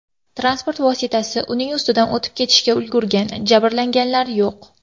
Transport vositasi uning ustidan o‘tib ketishga ulgurgan, jabrlanganlar yo‘q.